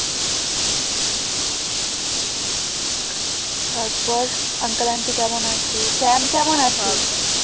তারপর uncle unty কেমন আছে? চ্যাম কেমন আছে?